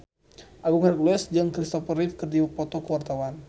Agung Hercules jeung Christopher Reeve keur dipoto ku wartawan